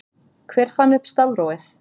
hver fann upp stafrófið